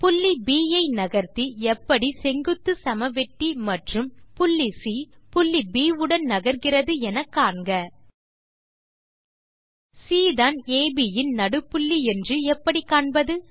புள்ளி ப் ஐ நகர்த்தி எப்படி செங்குத்துச் சமவெட்டி மற்றும் புள்ளி சி புள்ளி ப் உடன் நகர்கிறது என காண்க சி தான் அப் இன் நடுப்புள்ளி என்று எப்படி காண்பது